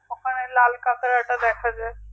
হ্যাঁ লাল কাঁকড়াটা দেখা যাই